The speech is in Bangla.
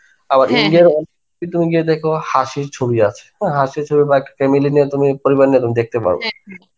আবার India য় কিন্তু তুমি গিয়ে দেখবে হাসির ছবি আছে, হ্যাঁ হাসির ছবি but family নিয়ে তুমি পরিবার নিয়ে তুমি দেখতে পারো.